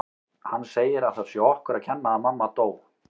Hann segir að það sé okkur að kenna að mamma dó